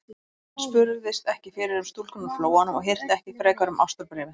Hann spurðist ekki fyrir um stúlkuna úr Flóanum og hirti ekki frekar um ástarbréfið.